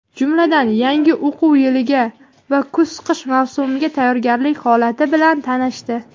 jumladan yangi o‘quv yiliga va kuz-qish mavsumiga tayyorgarlik holati bilan tanishdi.